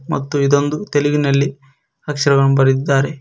ಮತ್ತು ಇದೊಂದು ತೆಲುಗಿನಲ್ಲಿ ಅಕ್ಷರವನ್ನು ಬರೆದಿದ್ದಾರೆ.